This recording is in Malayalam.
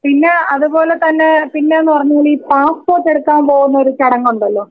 പിന്നെ അതുപോലെ തന്നെ പിന്നെ ന്ന് പറഞ്ഞാൽ ഈ പാസ്പോർട്ട് എടുക്കാൻ പോകുന്ന ഒരു ചടങ്ങ് ഉണ്ടല്ലോ?.